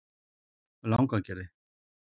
Langagerði